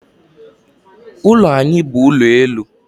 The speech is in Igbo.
Ụlọ anyị bu ụlọ elu